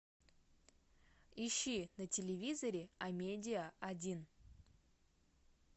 ищи на телевизоре амедиа один